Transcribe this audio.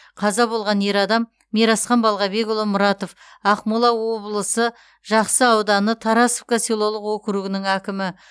қаза болған ер адам мирасхан балғабекұлы мұратов ақмола облысы жақсы ауданы тарасовка селолық округінің әкімі